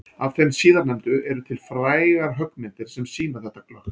Af þeim síðarnefndu eru til frægar höggmyndir sem sýna þetta glöggt.